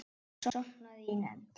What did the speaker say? Sofnaði í nefnd.